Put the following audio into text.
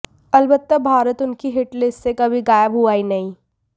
अलबत्ता भारत उनकी hit list से कभी गायब हुआ ही नहीं